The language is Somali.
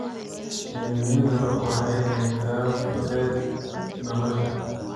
Shinnidu waxay keentaa fudayd nolosha.